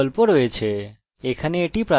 এখানে এটি প্রাথমিক কি